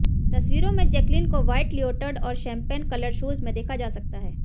तस्वीरों में जैकलीन को व्हाइट लियोटर्ड और शैंपेन कलर्ड शूज में देखा जा सकता है